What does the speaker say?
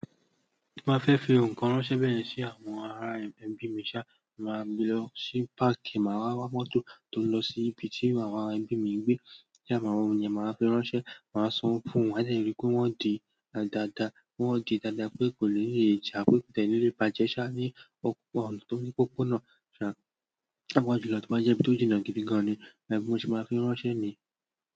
Ma fẹ fi ohun kan ránṣẹ́ sí àwọn ará ẹbí mo máa gbé lọ sí páàkì, má wá wá motor tó ń lọ sí ibi tí àwọn ará ẹbí ń gbé, kí a má wo ohun ni ẹ má fẹ́ ránṣẹ́, má san fún wọ́n, a ṣe rí pé wọ́n di dada, wọ́n di dada pé kò lè rí e ja, pé kò lè rí e bàjẹ́ ṣá ní ọ̀pọ̀, tó ní òpópónà ṣá, pàápàá julọ tó bá jẹ ibi tó jìnà gidi gan ni, bí mo ṣe má fi ránṣẹ́ ni.